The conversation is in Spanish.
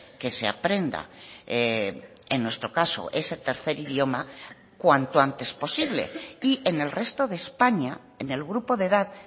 que se aprenda en nuestro caso ese tercer idioma cuanto antes posible y en el resto de españa en el grupo de edad